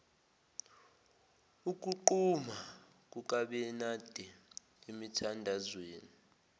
ukuquma kukabenade emithandazweni